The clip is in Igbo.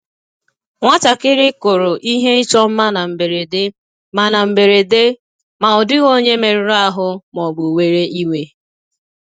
Nwatakịrị kụrụ ihe ịchọ mma na mberede, ma na mberede, ma ọ dịghị onye merụrụ ahụ ma ọ bụ were iwe